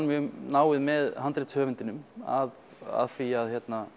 mjög náið með handritshöfundinum að því að